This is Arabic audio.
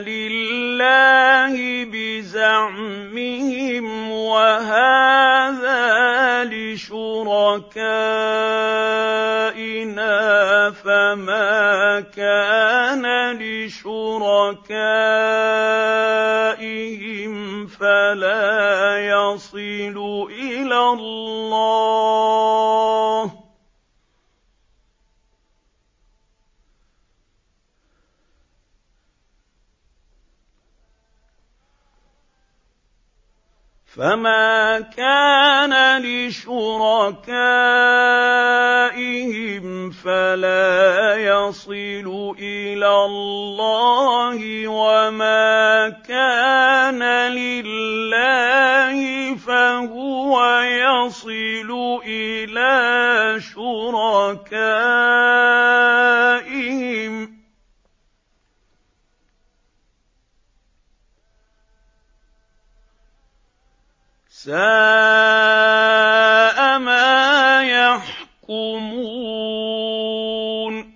لِلَّهِ بِزَعْمِهِمْ وَهَٰذَا لِشُرَكَائِنَا ۖ فَمَا كَانَ لِشُرَكَائِهِمْ فَلَا يَصِلُ إِلَى اللَّهِ ۖ وَمَا كَانَ لِلَّهِ فَهُوَ يَصِلُ إِلَىٰ شُرَكَائِهِمْ ۗ سَاءَ مَا يَحْكُمُونَ